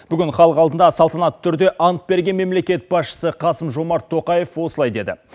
бүгін халық алдында салтанатты түрде ант берген мемлекет басшысы қасым жомарт тоқаев осылай деді